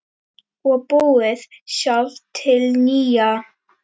Og búið sjálf til nýja.